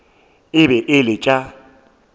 e be e le tša